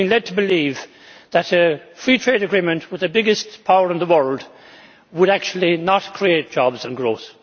Yet we have been led to believe that a free trade agreement with the biggest power in the world would actually not create jobs and growth.